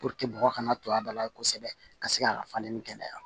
mɔgɔ kana to a da la kosɛbɛ ka se ka falen ni kɛnɛya